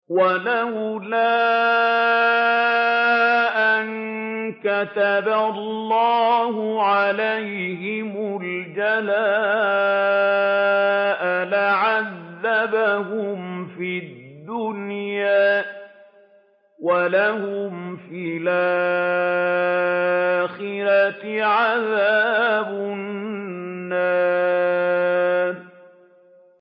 وَلَوْلَا أَن كَتَبَ اللَّهُ عَلَيْهِمُ الْجَلَاءَ لَعَذَّبَهُمْ فِي الدُّنْيَا ۖ وَلَهُمْ فِي الْآخِرَةِ عَذَابُ النَّارِ